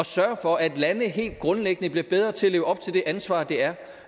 sørge for at lande helt grundlæggende bliver bedre til at leve op til det ansvar det er